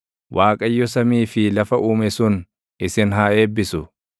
Waaqayyo samii fi lafa Uume sun isin haa eebbisu.